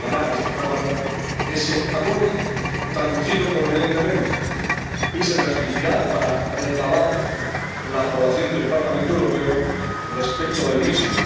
Llegará a esta Cámara ese acuerdo, traducido convenientemente y se transmitirá para recabar la aprobación del Parlamento Europeo respecto del mismo.